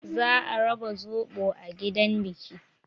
Za a raba zoɓo a gidan biki.